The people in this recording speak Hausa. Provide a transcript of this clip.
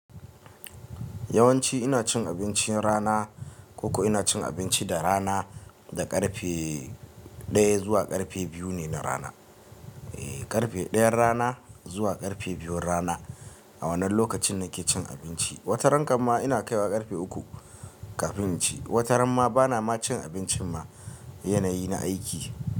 Yawanci ina cin abincin rana, ko kuma ina cin abinci da rana da ƙarfe ɗaya zuwa ƙarfe biyu na rana. Ƙarfe ɗayan rana zuwa ƙarfe biyun rana a wannan lokacin nake cin abinci. Wataran kam ina kaiwa ƙarfe uku kafin in ci, wataran ma bana ma cin abincin ma yanayi na aiki.